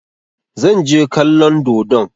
Zan je kallon dodon.